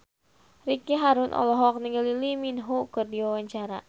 Ricky Harun olohok ningali Lee Min Ho keur diwawancara